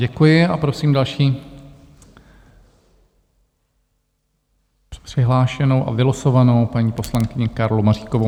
Děkuji a prosím další přihlášenou a vylosovanou paní poslankyni Karlu Maříkovou.